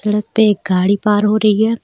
सड़क पे एक गाड़ी पार हो रही है.